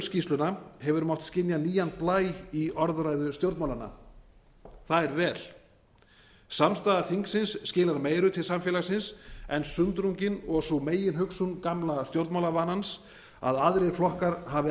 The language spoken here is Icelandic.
hrunskýrsluna hefur mátt skynja nýjan blæ í orðræðu stjórnmálanna það er vel samstaða þingsins skilar meiru til samfélagsins en sundrungin og sú meginhugsun gamla stjórnmálavanans að aðrir flokkar hafi